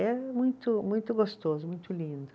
É muito muito gostoso, muito lindo.